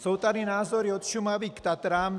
Jsou tady názory od Šumavy k Tatrám.